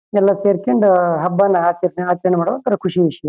ಎಲ್ಲ ಸೇರ್ಕಂಡ್ ಹಬ್ಬ ನ ಆಚರಣೆ ಮಾಡೋದ್ ಖುಷಿ ವಿಷ್ಯ.